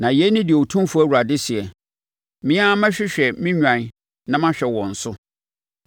“ ‘Na yei ne deɛ Otumfoɔ Awurade seɛ: Me ara mɛhwehwɛ me nnwan na mahwɛ wɔn so.